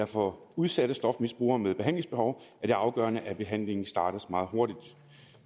for udsatte stofmisbrugere med behandlingsbehov er afgørende at behandlingen startes meget hurtigt